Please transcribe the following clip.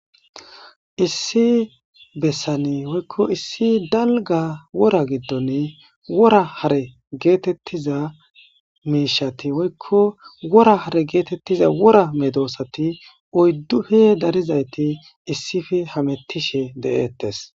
Issi bessani woykko issi dalga wora giddoni wora hare geetettiza miishati woykko wora hare geetettiza wora medoosati oyddufe darizayti issife hamettishe de7eettes.